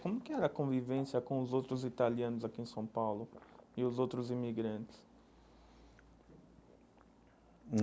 Como que era a convivência com os outros italianos aqui em São Paulo e os outros imigrantes? Hum